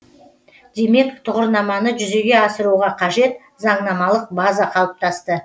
демек тұғырнаманы жүзеге асыруға қажет заңнамалық база қалыптасты